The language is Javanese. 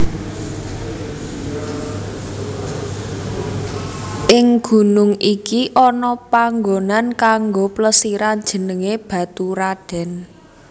Ing gunung iki ana panggonan kanggo plesiran jenengé Baturadèn